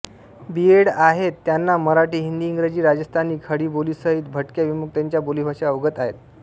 बी Ed आहेत त्यांना मराठी हिंदी इंग्रजी राजस्थानी खडीबोलीसहित भटक्या विमुक्तांच्या बोलीभाषा अवगत आहेत